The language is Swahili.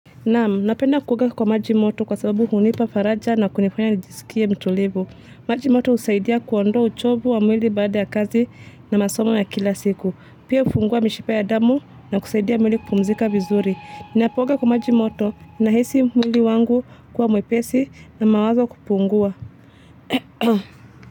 Naam, napenda kuoga kwa maji moto kwa sababu hunipa faraja na kunifanya nijisikie mtulivu. Maji moto usaidia kuondoa uchovu wa mwili baada ya kazi na masomo ya kila siku. Pia ufungua mishipa ya damu na kusaidia mwili kupumzika vizuri. Ninapooga kwa maji moto nahisi mwili wangu kuwa mwepesi na mawazo kupungua.